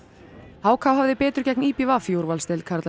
h k hafði betur gegn í b v í úrvalsdeild karla í